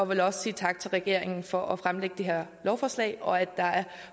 vil også sige tak til regeringen for at fremsætte det her lovforslag og have